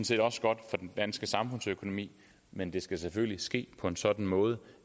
set også godt for den danske samfundsøkonomi men det skal selvfølgelig ske på en sådan måde